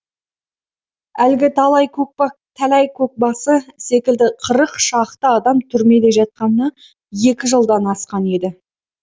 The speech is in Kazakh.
әлгі тәләй көкбасы секілді қырық шақты адам түрмеде жатқанына екі жылдан асқан еді